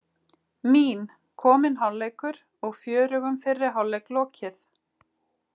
Mín: Kominn hálfleikur og fjörugum fyrri hálfleik lokið.